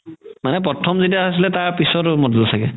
মানে প্ৰথম যেতিয়া আছিলে তাৰ পাছত model ছাগে